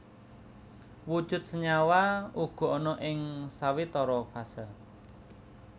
Wujud senyawa uga ana ing sawetara fase